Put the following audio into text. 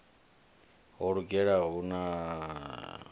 ho lugela u hamiwa na